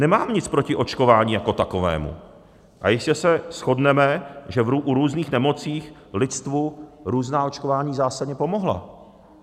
Nemám nic proti očkování jako takovému a jistě se shodneme, že u různých nemocí lidstvu různá očkování zásadně pomohla.